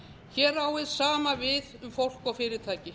hér á hið sama við um fólk og fyrirtæki